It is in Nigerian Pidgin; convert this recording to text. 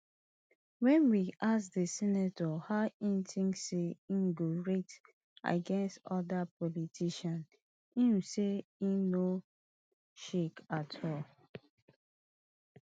wen we ask di senator how e tink say e go rate against di oda politicians im say e no shake at all